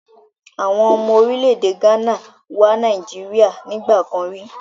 Àwọn ọmọ orílẹ̀-èdè Ghana wá Nàìjíríà nígbà kan rí.